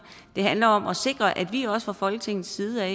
det handler om at sikre at vi også fra folketingets side